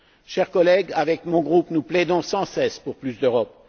Chers collègues, avec mon groupe, nous plaidons sans cesse pour plus d'Europe.